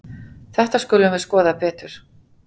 Þetta skulum við skoða betur.